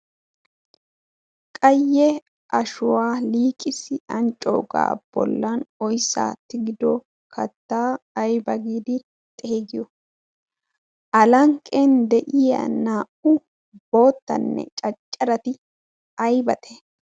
qayye ashuwaa liiqisi anccoogaa bollan oyssaa tigido kattaa ayba giidi xeegiyo a lanqqen deyiya naa'u boottanne caccarati aybate?